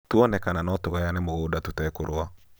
tuone kana notũgayane mũgũnda tũtekũrũa